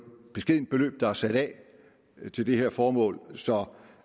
beskedent beløb der er sat af til det her formål så